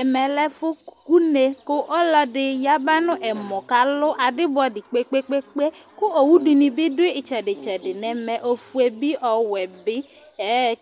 Ɛmɛ lɛ ũné ku ɔluɛdi yaba n'ɛmɔ k'alù adibɔdi kpekpekpe ku owudini bi dù itsɛdi itsɛdi n'ɛmɛofue bi ɔwɛ bi,